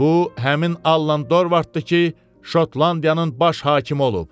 Bu, həmin Allan Dorvaddır ki, Şotlandiyanın baş hakimi olub.